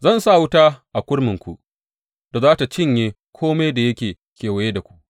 Zan sa wuta a kurminku da za tă cinye kome da yake kewaye da ku.